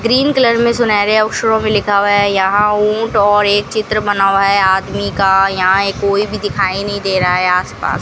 Green colour में सुनहरे अक्षरों में लिखा हुआ है यहां ऊंट और एक चित्र बना हुआ है आदमी का यहां कोई भी दिखाई नहीं दे रहा है आसपास।